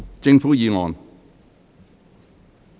政府議案。